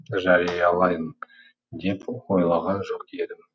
жариялайын деп ойлаған жоқ едім